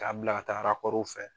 K'a bila ka taa rakɔruw fɛ